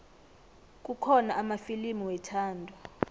kukhona amafilimu wethando